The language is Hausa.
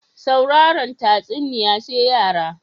Sauraren tatsuniya sai yara